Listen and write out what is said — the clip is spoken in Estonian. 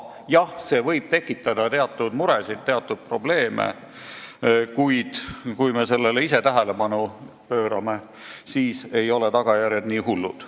Jah, see võib tekitada teatud muresid ja probleeme, kuid kui me sellele ise tähelepanu pöörame, siis ei ole tagajärjed nii hullud.